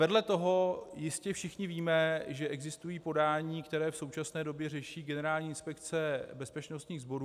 Vedle toho jistě všichni víme, že existují podání, která v současné době řeší Generální inspekce bezpečnostních sborů.